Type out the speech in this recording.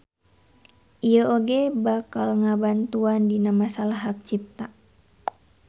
Ieu oge bakal ngabantuan dina masalah hak cipta.